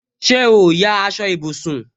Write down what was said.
Ṣé o ya aṣọ ìbùsùn